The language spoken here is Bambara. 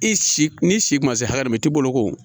I si ni si ma se hakɛ min tɛ bolo ko